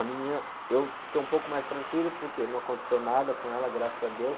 A menina, eu fiquei um pouco mais tranquilo, porque não aconteceu nada com ela, graças a Deus.